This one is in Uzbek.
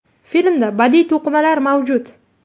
Filmda badiiy to‘qimalar mavjud.